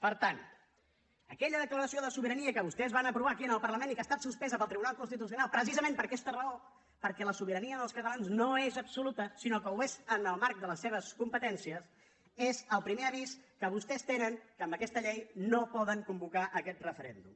per tant aquella declaració de sobirania que vostès van aprovar aquí en el parlament i que ha estat suspesa pel tribunal constitucional precisament per aquesta raó perquè la sobirania dels catalans no és absoluta sinó que ho és en el marc de les seves competències és el primer avís que vostès tenen que amb aquesta llei no poden convocar aquest referèndum